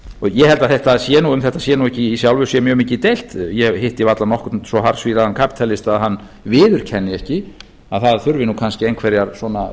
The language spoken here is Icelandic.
ég held að um þetta sé í sjálfu sér ekki mikið deilt ég hitti varla nokkurn svo harðsvíraðan kapítalista að hann viðurkenni ekki að það þurfi nú kannski einhverjar svona